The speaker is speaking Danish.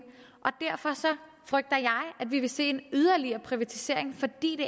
derfor frygter jeg at vi vil se en yderligere privatisering fordi det